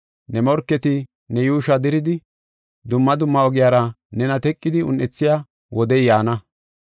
Ne morketi ne yuushuwa diridi dumma dumma ogiyara nena teqidi un7ethiya wodey yaana.